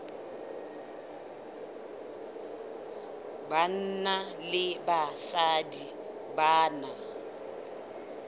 banna le basadi ba na